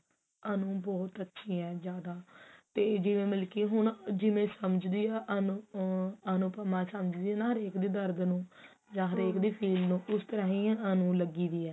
ਅਨੂ ਬਹੁਤ ਅੱਛੀ ਹੈ ਜਿਆਦਾ ਤੇ ਜਿਵੇਂ ਮਤਲਬ ਕੀ ਹੁਣ ਜਿਵੇਂ ਸਮਝਦੀ ਆ ਅਨੂ ਅਨੁਪਮਾ ਸਮਝਦੀ ਆ ਨਾ ਹਰੇਕ ਦੇ ਦਰਦ ਨੂੰ ਜਾਂ ਹਰੇਕ ਦੀ feel ਨੂੰ ਉਸ ਤਰਾਂ ਹੀ ਅਨੂ ਲੱਗੀ ਹੋਈ ਹੈ